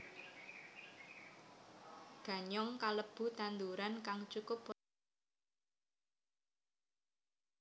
Ganyong kalebu tanduran kang cukup poténsial kanggo sumber karbohidrat